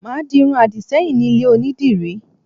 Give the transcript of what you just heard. Màá di irun àdìṣẹ́yìn ní ilé Onídìrí